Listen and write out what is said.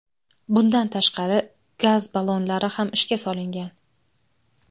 Bundan tashqari, gaz ballonlari ham ishga solingan.